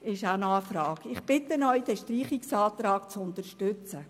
Ich bitte die Ratsmitglieder, den Streichungsantrag zu unterstützen.